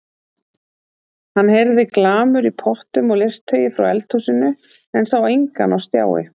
Hann heyrði glamur í pottum og leirtaui frá eldhúsinu en sá engan á stjái.